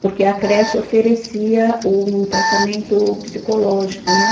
Porque a creche oferecia um tratamento psicológico, né?